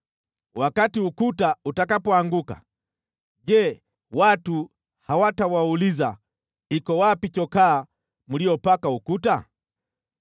Wakati ukuta utakapoanguka, je, watu hawatawauliza, “Iko wapi chokaa mliyopaka ukuta?”